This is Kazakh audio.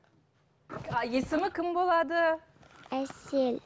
а есімі кім болады әсел